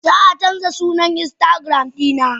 Zaa canja sunan instagram dina.